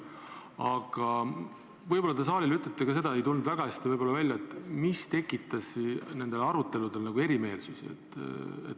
Aga võib-olla te ütlete saalile ka seda , mis tekitas nendel aruteludel erimeelsusi.